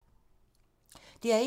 DR1